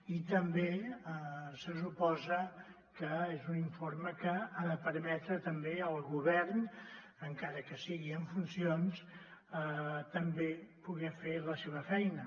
i també se suposa que és un informe que ha de permetre també al govern encara que sigui en funcions també poder fer la seva feina